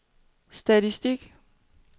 statistik